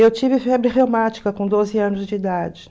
Eu tive febre reumática com doze anos de idade.